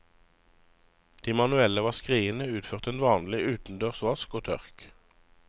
De manuelle vaskeriene utførte en vanlig utendørs vask og tørk.